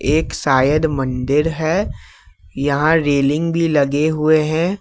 एक शायद मंदिर है यहां रेलिंग भी लगे हुए हैं।